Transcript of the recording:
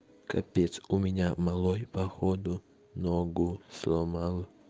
капец у меня малой походу ногу сломал